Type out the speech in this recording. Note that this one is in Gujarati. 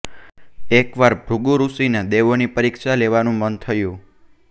એકવાર ભૃગુ ઋષિને દેવોની પરીક્ષા લેવાનું મન થયું